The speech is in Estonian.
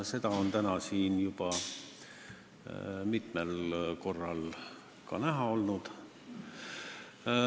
Seda on täna siin juba mitmel korral näha olnud.